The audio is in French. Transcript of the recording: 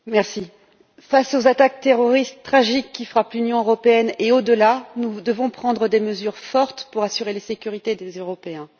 Madame la Présidente, face aux attaques terroristes tragiques qui frappent l'Union européenne et au delà, nous devons prendre des mesures fortes pour assurer la sécurité des Européens.